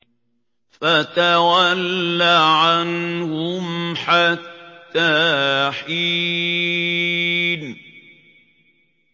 فَتَوَلَّ عَنْهُمْ حَتَّىٰ حِينٍ